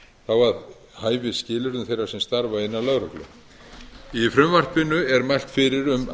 að hæfisskilyrðum þeirra sem starfa innan lögreglu í frumvarpinu er mælt fyrir um